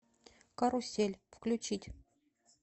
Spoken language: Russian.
карусель включить